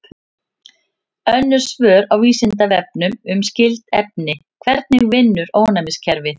Önnur svör á Vísindavefnum um skyld efni: Hvernig vinnur ónæmiskerfið?